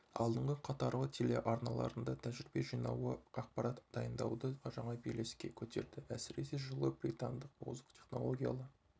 алдыңғы қатарлы телеарналарында тәжірибе жинауы ақпарат дайындауды жаңа белеске көтерді әсіресе жылы британдық озық технологиялы